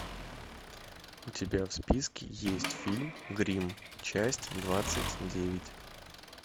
у тебя в списке есть фильм гримм часть двадцать девять